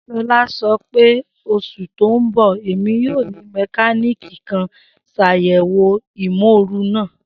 Shola sọpẹ, Osu ti n bọ, Emi yoo ni mekaniki kan ṣayẹwo imooru naa.